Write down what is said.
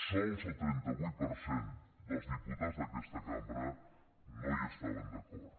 sols el trenta vuit per cent dels diputats d’aquesta cambra no hi estaven d’acord